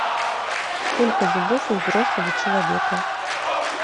сколько зубов у взрослого человека